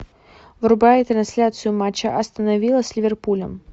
врубай трансляцию матча астона вилла с ливерпулем